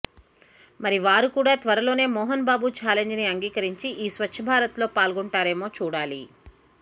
మరి వారు కూడా త్వరలోనే మోహన్ బాబు చాలెంజ్ ని అంగీకరించి ఈ స్వచ్చ భారత్ లో పాల్గొంటారేమో చూడాలి